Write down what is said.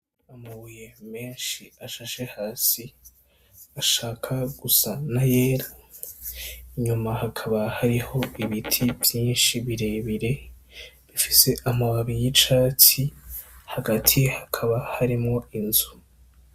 Amabuye menshi ashashe hasi ashaka gusa n'ayera, inyuma hakaba hariho ibiti vyinshi birebire bifise amababi y'icatsi, hagati hakaba harimwo inzu.